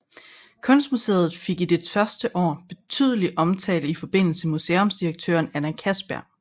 Kunstmuseet fik i dets første år betydelig omtale i forbindelse med museumsdirektøren Anna Castberg